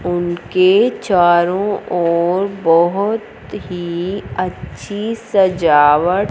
उनके चारों ओर बहोत ही अच्छी सजावट--